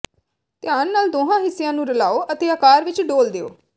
ਧਿਆਨ ਨਾਲ ਦੋਹਾਂ ਹਿੱਸਿਆਂ ਨੂੰ ਰਲਾਓ ਅਤੇ ਆਕਾਰ ਵਿੱਚ ਡੋਲ੍ਹ ਦਿਓ